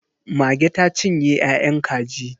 Mage ta cinye ya'yan kajin.